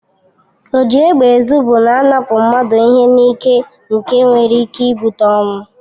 Oji égbè ezụ bụ na-anapụ mmadụ ihe n'ịke nke nwere ịke ịbute ọnwụ.